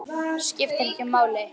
Skiptir ekki máli.